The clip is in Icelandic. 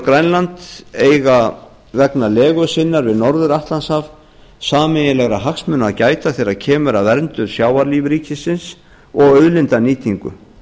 grænland eiga vegna legu sinnar við norður atlantshaf sameiginlegra hagsmuna að gæta þegar kemur að verndun sjávarlífríkisins og auðlindanýtingu